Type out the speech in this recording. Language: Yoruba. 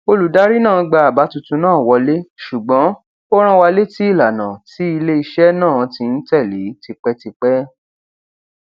olùdarí náà gba àbá tuntun náà wọlé ṣùgbọn ó rán wa létí ìlànà tí iléiṣẹ náà ti ń tèlé tipẹtipẹ